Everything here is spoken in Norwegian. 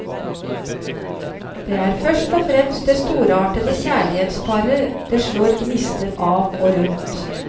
Det er først og fremst det storartede kjærlighetsparet det slår gnister av og rundt.